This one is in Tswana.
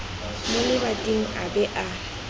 mo lebating a be a